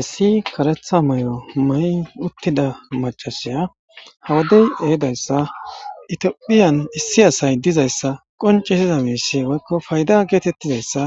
issi karetha moy7o ma7y uttida macasiya hawadey ehedayssa itiophiyan issi asay dizayssa qoncisiza miisi woykko fayda geetettizayssa